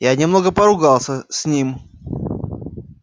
я немного поругался с ним